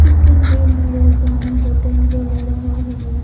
इस तस्वीर में राजस्थानी होटल नजर आ रहा है।